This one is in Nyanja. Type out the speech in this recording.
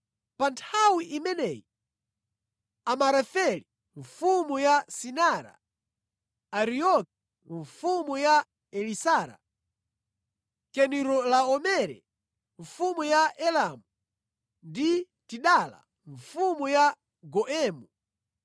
Pa nthawi imeneyi Amarafeli mfumu ya Sinara, Arioki mfumu ya Elasara, Kedorilaomere mfumu ya Elamu ndi Tidala mfumu ya Goimu